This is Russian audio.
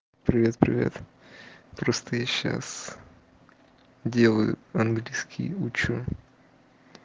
привет привет просто я сейчас делаю английский учу